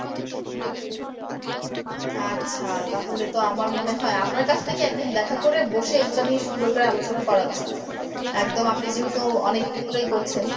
আচ্ছা তাহলে তো আমার মনে হয় আপনার কাছ থেকে একদিন দেখা করে বসে এগুলো নিয়ে সুন্দর করে আলোচনা করা উচিত একদম আপনি যেহেতু অনেকদিন থেকে করছেন।